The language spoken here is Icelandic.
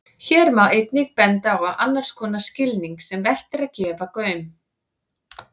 Hér má einnig benda á annars konar skilning sem vert er að gefa gaum.